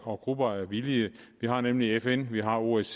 og grupper af villige vi har nemlig fn vi har osce